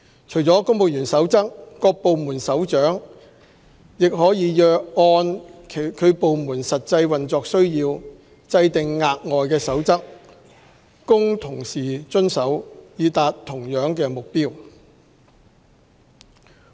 除了《公務員守則》，各部門首長也可按其部門實際運作需要，制訂額外守則供同事遵守，以達到同樣目的。